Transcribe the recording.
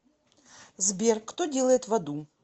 сбер кто делает в аду